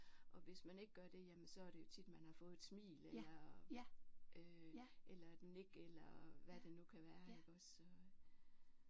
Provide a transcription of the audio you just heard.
Og hvis man ikke gør det jamen så er det jo tit man har fået et smil eller øh eller et nik eller hvad det nu kan være iggås så